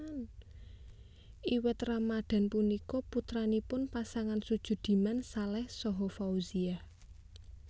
Iwet Ramadhan punika putranipun pasangan Sujudiman Saleh saha Fauziah